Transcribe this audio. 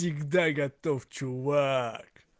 всегда готов чувак